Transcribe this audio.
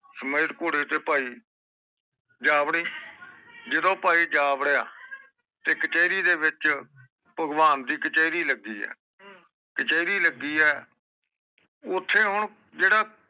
ਸਮਾਇਰ ਕੋਟ ਇਥੇ ਭਾਈ ਜਾ ਵੜੀ ਜਦੋ ਭਾਈ ਜਾ ਵੜਿਆ ਤੇ ਕਚੈਰੀ ਦੇ ਵਿਚ ਭਗਵਾਨ ਦੀ ਕਚੈਰੀ ਲੱਗੀ ਏ ਕਚੈਰੀ ਲੱਗੀ ਏ ਓਥੇ ਹੁਣ ਜਿਹੜਾ